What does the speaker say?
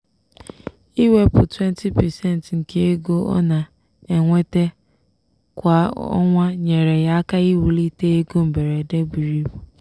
"iwepụ 20% nke ego ọ na-enweta kwa ọnwa nyeere ya aka iwulite ego mberede buru ibu."